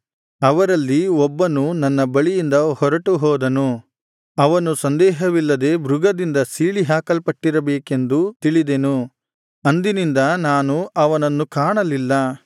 ಅವರಲ್ಲಿ ಒಬ್ಬನು ನನ್ನ ಬಳಿಯಿಂದ ಹೊರಟು ಹೋದನು ಅವನು ಸಂದೇಹವಿಲ್ಲದೆ ಮೃಗದಿಂದ ಸೀಳಿ ಹಾಕಲ್ಪಟ್ಟಿರಬೇಕೆಂದು ತಿಳಿದೆನು ಅಂದಿನಿಂದ ನಾನು ಅವನನ್ನು ಕಾಣಲಿಲ್ಲ